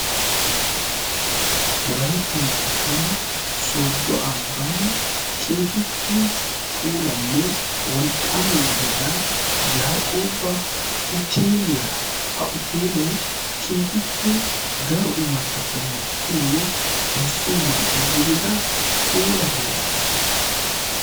wolaytta moottan sodo ambban keehippe polanne wolqqaama gidida yaaqooba uteeliyaa ha uteelee kehippee daro imattata mokkiyoonne moyssiyo man''iya gidida puula heera